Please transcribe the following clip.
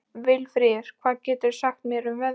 Vilfríður, hvað geturðu sagt mér um veðrið?